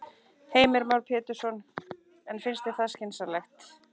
Heimir Már Pétursson: En finnst þér það skynsamlegt?